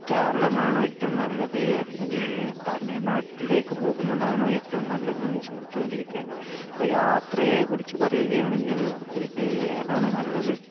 കേരളമാണോ ഏറ്റവും നല്ലത് അല്ലെങ്കിൽ തമിഴ് നാട്ടിലേക്ക് പോകുന്നതാണോ ഏറ്റവും നല്ലതെന്ന് ചിന്തിച്ചുകൊണ്ടിരിക്കേണ് അപ്പൊ യാത്രയെ കുറിച്ച് പറയുകയാണെങ്കിൽ ഇത് ഏതാണ് നല്ലത്